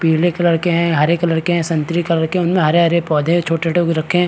पीले कलर के है हरे कलर के है संतरे कलर के है उन में हरे-हरे पौधे छोटे-छोटे भी रखे है।